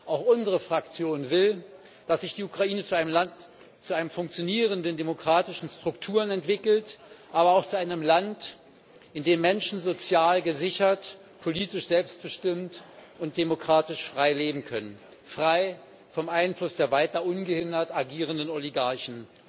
Auch unsere Fraktion will, dass sich die Ukraine zu einem Land mit funktionierenden demokratischen Strukturen entwickelt, aber auch zu einem Land, in dem Menschen sozial gesichert, politisch selbstbestimmt und demokratisch frei leben können, frei vom Einfluss der weiter ungehindert agierenden Oligarchen.